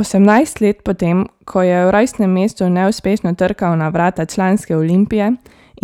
Osemnajst let po tem, ko je v rojstnem mestu neuspešno trkal na vrata članske Olimpije,